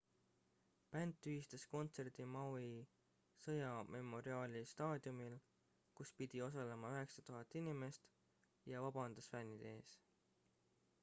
bänd tühistas kontserdi maui sõjamemoriaali staadiumil kus pidi osalema 9000 inimest ja vabandas fännide ees